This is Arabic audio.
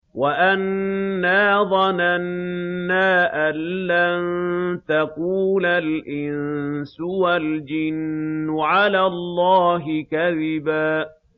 وَأَنَّا ظَنَنَّا أَن لَّن تَقُولَ الْإِنسُ وَالْجِنُّ عَلَى اللَّهِ كَذِبًا